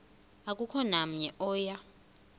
akukho namnye oya